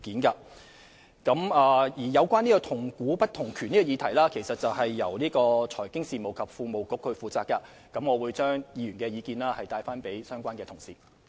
有關"同股不同權"的議題由財經事務及庫務局負責，我會把議員的意見轉達相關同事。